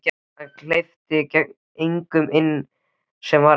Hann hleypti engum inn sem ekki var með gjöf.